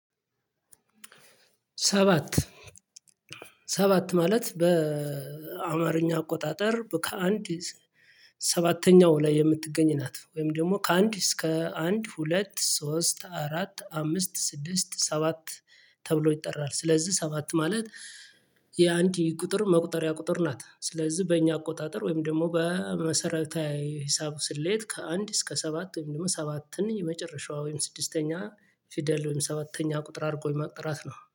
ሰባት ሰባት ማለት በአማርኛ አቆጣጠር ከአንድ ሰባተኛው ላይ የምትገኝ ናት። ወይም ደግሞ ከአንድ እስከ አንድ ሁለት ሶስት አራት አምስት ስድስት ሰባት ተብሎ ይጠራል። ስለዚህ ሰባት ማለት የአንድ የቁጥር መቁጠሪያ ቁጥር ናት። ስለዚህ በእኛ አቆጣጠር ወይም ደግሞ በመሰረታዊ ሂሳብ ስሌት ከአንድ እስከ ሰባት ወይም ደግሞ ሰባትን የመጨረሻዋ ወይም ስድስተኛ ፊደል ወይም ሰባተኛ ቁጥር አድርጎ የማንጠራት ነው